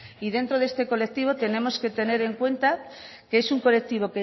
y dentro de este colectivo tenemos que tener en cuenta que es un colectivo